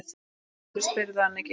Af hverju spyrðu hann ekki?